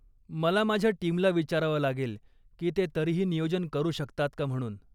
मला माझ्या टीमला विचारावं लागेल की ते तरीही नियोजन करू शकतात का म्हणून.